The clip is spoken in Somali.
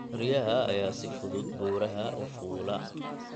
Riyaha ayaa si fudud buuraha u fuula.